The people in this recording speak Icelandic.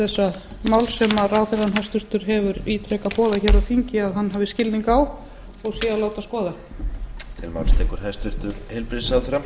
máls sem ráðherrann hæstvirtur hefur ítrekað boðað hér á þingi að hann hafi skilning á og sé að láta skoða